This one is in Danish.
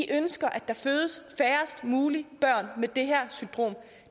ønsker at der fødes færrest mulige børn med det her symptom